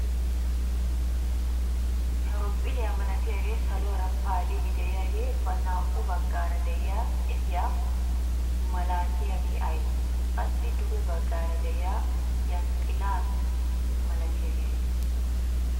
Horoophiliyaa malatiyaagee saluwaara paalliidi de'iyaagee ba naa"u baggaara de'iyaa qefiyaa malatiyaagaa aybee? qassi duge baggaara de'iyaa yanxxila milatiyaagee ayba getettii?